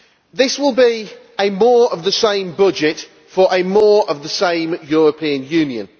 This will be more of the same budget for more of the same European Union.